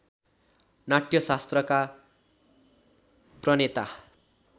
नाट्यशास्त्रका प्रणेता